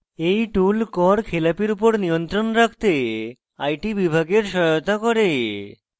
এই tool কর খেলাপির উপর নিয়ন্ত্রণ রাখতে আইটি বিভাগের সহায়তা করে